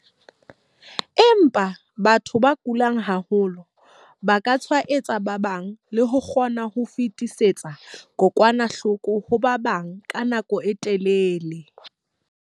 Empa, batho ba kulang haholo ba ka tshwaetsa ba bang le ho kgona ho fetisetsa kokwanahloko ho ba bang ka nako e telele.